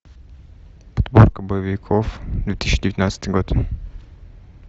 подборка боевиков две тысячи девятнадцатый год